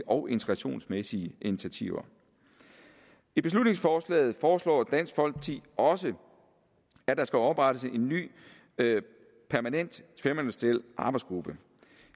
og integrationsmæssige initiativer i beslutningsforslaget foreslår dansk folkeparti også at der skal oprettes en ny permanent tværministeriel arbejdsgruppe